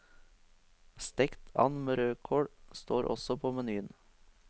Stekt and med rødkål står også på menyen.